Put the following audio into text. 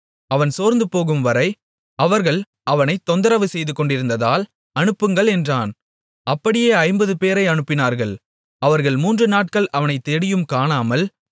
அவன் சோர்ந்துபோகும்வரை அவர்கள் அவனைத் தொந்தரவு செய்துகொண்டிருந்ததால் அனுப்புங்கள் என்றான் அப்படியே ஐம்பதுபேரை அனுப்பினார்கள் அவர்கள் மூன்று நாட்கள் அவனைத் தேடியும் காணாமல்